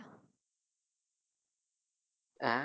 அஹ்